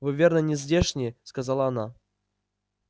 вы верно не здешние сказала она